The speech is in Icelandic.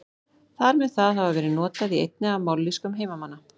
Þar mun það hafa verið notað í einni af mállýskum heimamanna.